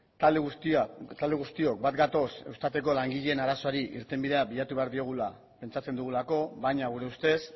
talde guztiok bat gatoz eustateko langileen arazoari irtenbidea bilatu behar diogula pentsatzen dugulako baina gure ustez